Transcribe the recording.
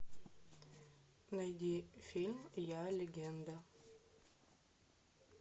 найди фильм я легенда